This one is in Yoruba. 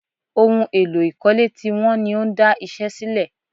Ohun èlò ìkọ́lé ti wọ́n ní ó ń dá iṣẹ́ dúró